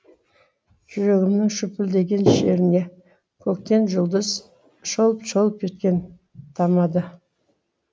жүрегімнің шүпілдеген шеріне көктен жұлдыз шолп шолп еткен тамады